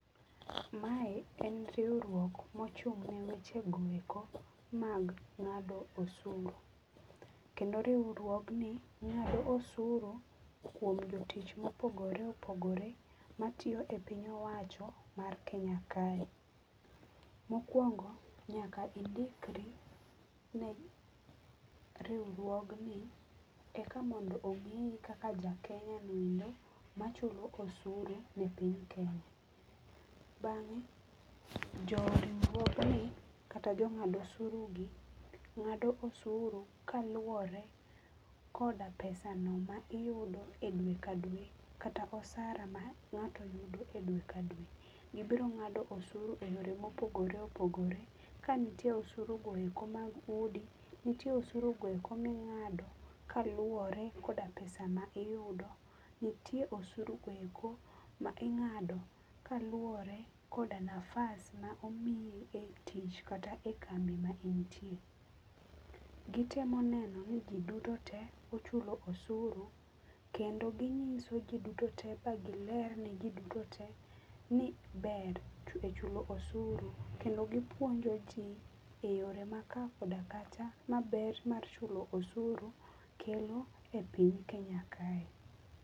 Mae en riwruok mochung ne weche goeko mag ngado osuru, kendo riwruogni ngato osuru kuom jotich ma opogore opogore matiyo e piny owacho mar Kenya kae. Mokuongo nyaka indikri ne riwruogni eka mondo ongiyi kaka ja Kenya noendo machulo osuru ne piny kenya. Bange jo riwruogni kata jo ng'ad osuru gi ng'ado usuru kaluore koda pesano ma iyudo e dwe ka dwe kata osara ma ngato yudo e dwe ka dwe. Gibiro ng'ado osuru e yore ma opogre opogore, Ka nitiere osuru goeko mag udi, nitie osuru goeko ming'ado kaluore koda pesa ma iyudo, nitie osuru goeko ma ingado kaluore koda nafas ma omiyi e tich kata e kambi ma intie. Gitemo neno ni jiduto tee ochulo osuru kendo ginyiso jii duto tee kagiler ne jii duto tee ni ber e chulo osuru kendo gipuonjo jii e yore ma kaa kod kacha maber mar chulo osuru kelo e piny Kenya kae